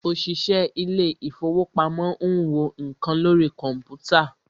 òṣìṣẹ́ ilé ìfọwọ́pamo ń wo nǹkan lórí kọ̀mpútà.